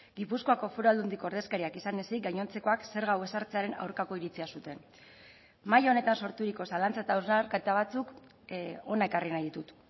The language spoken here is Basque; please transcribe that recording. gipuzkoako foru aldundiko ordezkariak izan ezik gainontzekoak zerga hau ezartzearen aurkako iritzia zuten mahai honetan sorturiko zalantza eta hausnarketa batzuk hona ekarri nahi ditut